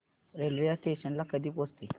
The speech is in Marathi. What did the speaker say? रेल्वे या स्टेशन ला कधी पोहचते